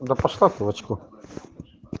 да пошла ты в очко